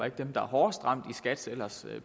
ikke dem der er hårdest ramt i skat’s ellers